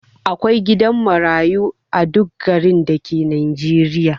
Akwai gidan marayu a duk garin dake najeriya